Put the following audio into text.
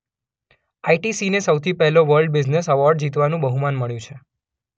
આઇટીસીને સૌથી પહેલો world business award જીતવાનું બહુમાન મળ્યું છે.